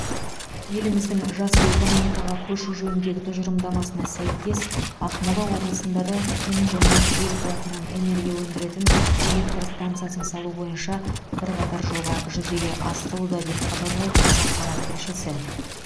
еліміздің жасыл экономикаға көшу жөніндегі тұжырымдамасына сәйкес ақмола облысында да күн және жел қуатынан энергия өндіретін электр стансасын салу бойынша бірқатар жоба жүзеге асырылуда деп хабарлайды қазақпарат тілшісі